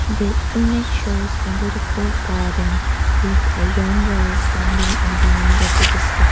the image shows a beautiful garden with a young girl standing in the winter city sky.